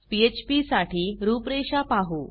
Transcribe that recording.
PHP साठी रूपरेषा पाहू